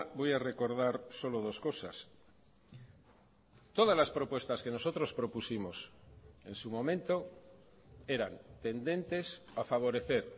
voy a recordar solo dos cosas todas las propuestas que nosotros propusimos en su momento eran tendentes a favorecer